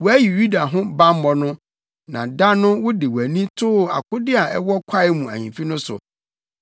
Wɔayi Yuda ho bammɔ no. Na da no wode wʼani too akode a ɛwɔ Kwae mu Ahemfi no so;